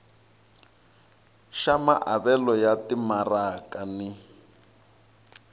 xa maavelo ya timaraka ni